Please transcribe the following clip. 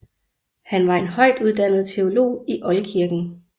Han var en højtuddannet teolog i oldkirken